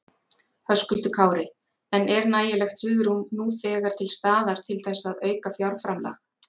Höskuldur Kári: En er nægilegt svigrúm nú þegar til staðar til þess að auka fjárframlag?